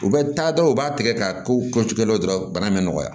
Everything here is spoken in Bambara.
U bɛ taa dɔrɔn u b'a tigɛ ka kow kɛcogo la dɔrɔn bana bɛ nɔgɔya